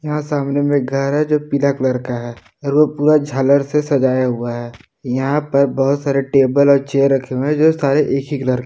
यहां सामने में घर है जो पीला कलर का है और वो पूरा झालर से सजाया हुआ है यहां पर बहुत सारे टेबल और चेयर रखें जो सारे एक ही कलर के--